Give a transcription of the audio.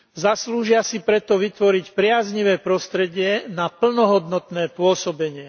Zaslúžia si preto vytvoriť priaznivé prostredie na plnohodnotné pôsobenie.